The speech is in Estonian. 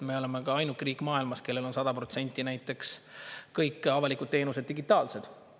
Me oleme ka ainuke riik maailmas, kellel on näiteks 100% kõik avalikud teenused digitaalsed.